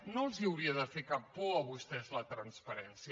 no els hauria de fer cap por a vostès la transparència